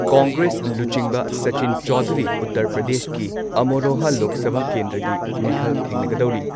ꯀꯣꯡꯒ꯭ꯔꯦꯁ ꯂꯨꯆꯤꯡꯕ ꯁꯥꯆꯤꯟ ꯆꯧꯙꯨꯔꯤ ꯎꯇꯔ ꯄ꯭ꯔꯗꯦꯁꯀꯤ ꯑꯃꯔꯣꯍꯥ ꯂꯣꯛ ꯁꯚꯥ ꯀꯦꯟꯗ꯭ꯔꯒꯤ ꯃꯤꯈꯜ ꯊꯦꯡꯅꯒꯗꯧꯔꯤ ꯫